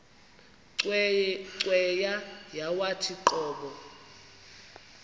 cweya yawathi qobo